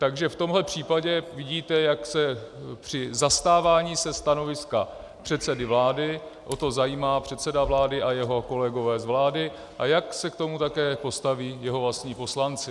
Takže v tomhle případě vidíte, jak se při zastávání se stanoviska předsedy vlády o to zajímá předseda vlády a jeho kolegové z vlády a jak se k tomu také postaví jeho vlastní poslanci.